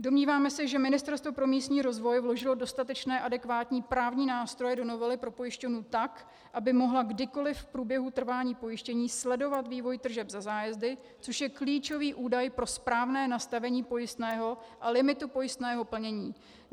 Domníváme se, že Ministerstvo pro místní rozvoj vložilo dostatečné adekvátní právní nástroje do novely pro pojišťovnu tak, aby mohla kdykoliv v průběhu trvání pojištění sledovat vývoj tržeb za zájezdy, což je klíčový údaj pro správné nastavení pojistného a limitu pojistného plnění.